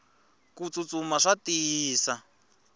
kutsutsuma swa tiyisa